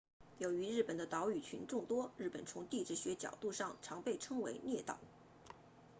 由于日本的岛屿群众多日本从地质学角度上常被称为列岛